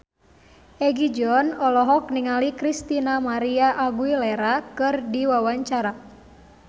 Egi John olohok ningali Christina María Aguilera keur diwawancara